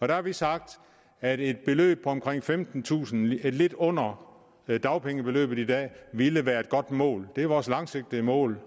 der har vi sagt at et beløb på omkring femtentusind kr lidt under dagpengebeløbet i dag ville være et godt mål det er vores langsigtede mål